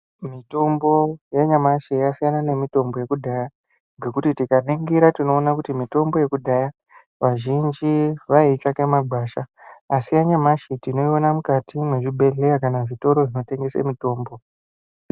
Mitombo yanyamashi yasiyana nemitombo yekudhaya ngekuti tikaningira tinoona kuti mitombo yekudhaya vazhinji vaiitsvaka mumagwasha asi yanyamashi tinoiona mukati mezvibhedheya kana zvitoro zvinotengesa mitombo.